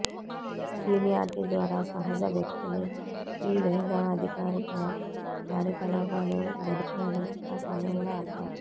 seniority ద్వారా సహజ వ్యక్తులు ఈ లేదా అధికారిక కార్యకలాపాలు గడిపాడు ఆ సమయంలో అర్థం